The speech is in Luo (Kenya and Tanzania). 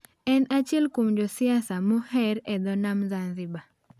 En achiel kuom josiasa moher e dho nam Zanzibar.